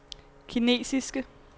kinesiske